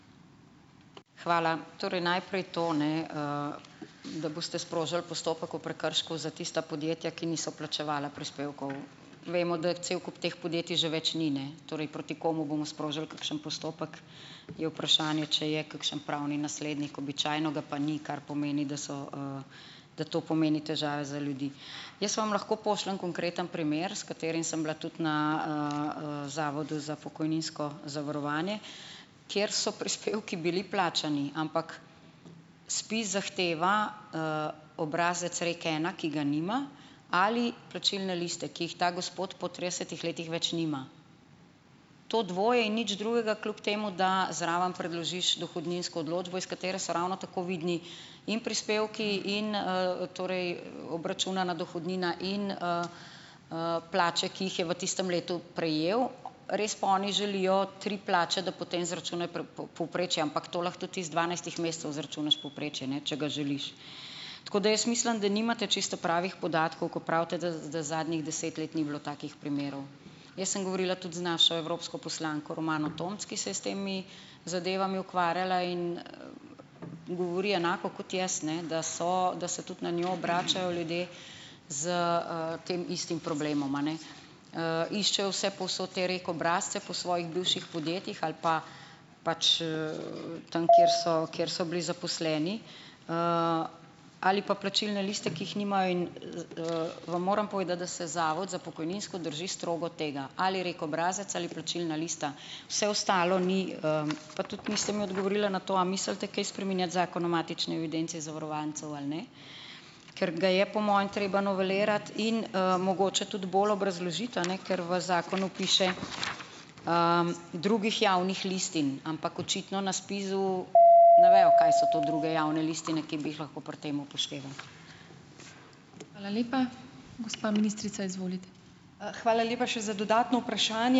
Hvala. Torej najprej to, ne, da boste sprožili postopek o prekršku za tista podjetja, ki niso plačevala prispevkov. Vemo, da cel kup teh podjetij že več ni, ne. Torej, proti komu bomo sprožili kakšen postopek, je vprašanje, če je kakšen pravni naslednik. Običajno ga pa ni, kar pomeni, da so, da to pomeni težave za ljudi. Jaz vam lahko pošljem konkreten primer, s katerim sem bila tudi na, zavodu za pokojninsko zavarovanje, kjer so prispevki bili plačani, ampak ZPIZ zahteva, obrazec REKena, ki ga nima ali plačilne liste, ki jih ta gospod po tridesetih letih več nima. To dvoje in nič drugega, kljub temu, da zraven predložiš dohodninsko odločbo, iz katere so ravno tako vidni in prispevki in, torej, obračunana dohodnina in, plače, ki jih je v tistem letu prejel. Res pa oni želijo tri plače, da potem izračunajo povprečje, ampak to lahko tudi ti iz dvanajstih mesecev izračunaš povprečje, ne, če ga želiš. Tako da jaz mislim, da nimate čisto pravih podatkov, ko pravite, da da zadnjih deset let ni bilo takih primerov. Jaz sem govorila tudi z našo evropsko poslanko Romano Tomc, ki se je s temi zadevami ukvarjala, in govori enako kot jaz, ne. Da so da se tudi na njo obračajo ljudje z, tem istim problemoma, a ne, iščejo vse povsod te REK obrazce po svojih bivših podjetjih ali pa pač, tam, kjer so kjer so bili zaposleni, ali pa plačilne liste, ki jih nimajo. In, vam moram povedati, da se zavod za pokojninsko drži strogo tega, ali REK obrazec ali plačilna lista. Vse ostalo ni, pa tudi niste mi odgovorila na to, a mislite kaj spreminjati zakon o matični evidenci zavarovancev, ali ne? Ker ga je, po mojem, treba novelirati in, mogoče tudi bolj obrazložiti, a ne , ker v zakonu piše: "drugih javnih listih". Ampak očitno na SPIZ-u ne vejo, kaj so to druge javne listine, ki bi jih lahko pri tem upoštevali.